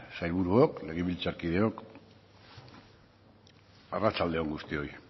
sailburuok legebiltzarkideok arratsalde on guztioi